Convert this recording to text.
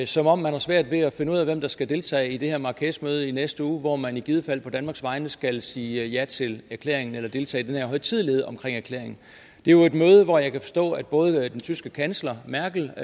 som om man har svært ved at finde ud af hvem der skal deltage i det her marrakeshmøde i næste uge hvor man i givet fald på danmarks vegne skal sige ja til erklæringen eller deltage i den her højtidelighed omkring erklæringen det er jo et møde hvor jeg kan forstå at både den tyske kansler merkel og